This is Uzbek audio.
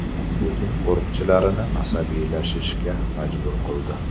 Putin qo‘riqchilarini asabiylashishga majbur qildi .